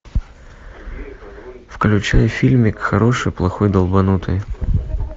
включай фильмик хороший плохой долбанутый